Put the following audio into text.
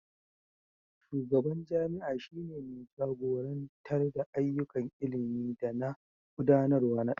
shugaban jami'a shi ne mai jagorantar da ayyukan ilimi da na gudanarwa na dalibai